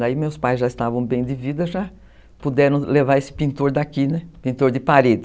Daí meus pais já estavam bem de vida, já puderam levar esse pintor daqui, pintor de parede.